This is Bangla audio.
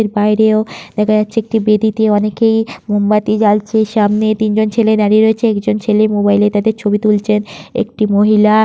এর বাইরেও দেখা যাচ্ছে একটা বেদিতে অনেকেই মোমবাতি জ্বালছে। সামনে তিন জন ছেলে দাঁড়িয়ে রয়েছে একজন ছেলে মোবাইল তাদের ছবি তুলছেন একটি মহিলা--